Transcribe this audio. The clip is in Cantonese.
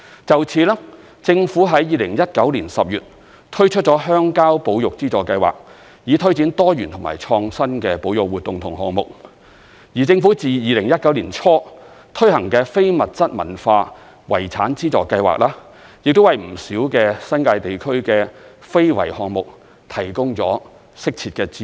就此，政府在2019年10月推出了鄉郊保育資助計劃，以推展多元和創新的保育活動和項目；而政府自2019年年初推行的非物質文化遺產資助計劃，亦為不少新界地區的非物質文化遺產項目提供了適切的資助。